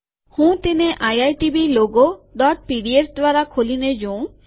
હું તેને IITB logo PDF દ્વારા ખોલીને જોઉં